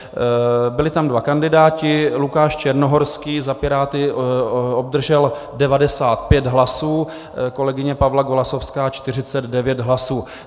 Byli tam dva kandidáti, Lukáš Černohorský za Piráty obdržel 95 hlasů, kolegyně Pavla Golasowská 49 hlasů.